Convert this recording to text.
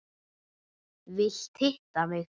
Vilt hitta mig.